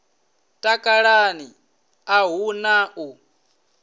takalani a hu na u